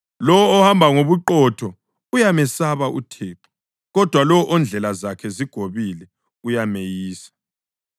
Lowo ohamba ngobuqotho uyamesaba uThixo, kodwa lowo ondlela zakhe zigobile uyameyisa.